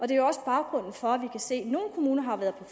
det jo også baggrunden for at vi kan se at nogle kommuner har været